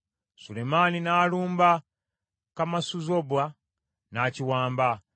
Sulemaani n’alumba Kamasuzoba n’akiwamba.